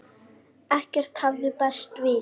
Ekkert hafði bæst við.